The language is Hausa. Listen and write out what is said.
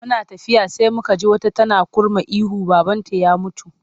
Muna tafiya sai muka ji wata tana kurma ihu babanta ya mutu.